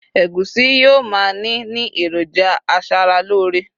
egusi yíò ma ni ni eroja aṣara lore